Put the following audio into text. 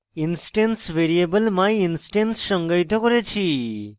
instance variable myinstance সংজ্ঞায়িত করেছি